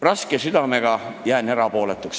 Raske südamega jään erapooletuks.